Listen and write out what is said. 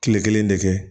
Kile kelen de kɛ